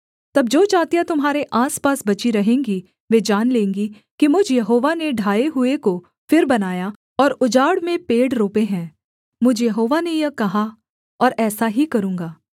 तब जो जातियाँ तुम्हारे आसपास बची रहेंगी वे जान लेंगी कि मुझ यहोवा ने ढाए हुए को फिर बनाया और उजाड़ में पेड़ रोपे हैं मुझ यहोवा ने यह कहा और ऐसा ही करूँगा